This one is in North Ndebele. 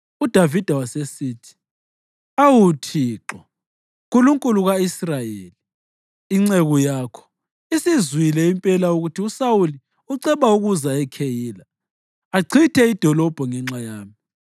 UDavida wasesithi, “Awu Thixo, Nkulunkulu ka-Israyeli, inceku yakho isizwile impela ukuthi uSawuli uceba ukuza eKheyila achithe idolobho ngenxa yami.